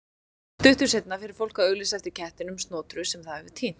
stuttu seinna fer fólk að auglýsa eftir kettinum snotru sem það hefur týnt